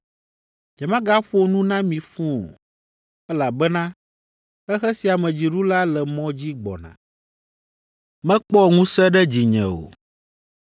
Nyemagaƒo nu na mi fũu o, elabena xexe sia me dziɖula le mɔ dzi gbɔna. Mekpɔ ŋusẽ ɖe dzinye o,